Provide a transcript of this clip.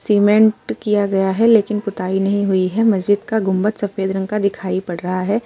Cement किया गया है लेकिन पुताई नहीं हुई है। मजीद का गुंबद सफेद रंग का दिखाई पड़ रहा है।